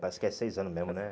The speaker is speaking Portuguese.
Parece que é seis anos mesmo, né?